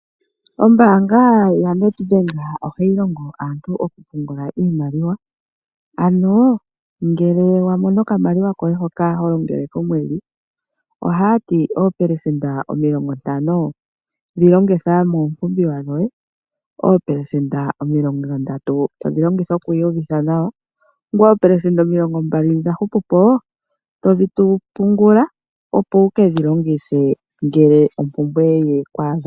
Ombaanga yonedbank ohayi longo aantu okupungula iimaliwa. Ano ngele wamono okamaliwa hoka ho longele komwedhi ohaati oopelesenda omilongo 50 dhi longitha miipumbiwa yoye, oopelesenda omilongo ndatu dhi longitha okwiiyuvitha nawa, ngoye opelesenda omilongo mbali ndhi dha hupupo dhi pungula ngoye ukedhi longithe ngele ompumbwe yeku adha.